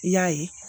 I y'a ye